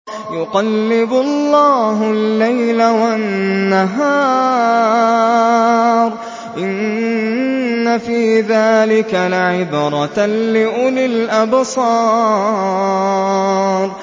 يُقَلِّبُ اللَّهُ اللَّيْلَ وَالنَّهَارَ ۚ إِنَّ فِي ذَٰلِكَ لَعِبْرَةً لِّأُولِي الْأَبْصَارِ